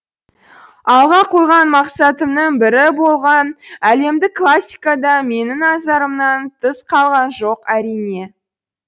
алға қойған мақсатымның бірі болған әлемдік классика да менің назарымнан тыс қалған жоқ әрине